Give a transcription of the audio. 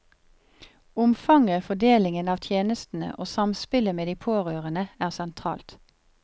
Omfanget, fordelingen av tjenestene og samspillet med de pårørende er sentralt.